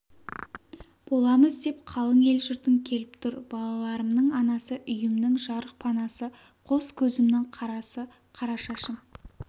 боламыз деп қалың ел-жұртың келіп тұр балаларымның анасы үйімнің жарық панасы қос көзімнің қарасы қарашашым